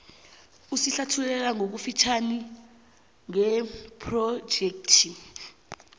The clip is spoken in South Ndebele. usihlathululele ngokufitjhazana ngephrojekhthi